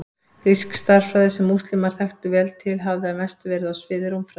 Grísk stærðfræði, sem múslímar þekktu vel til, hafði að mestu verið á sviði rúmfræði.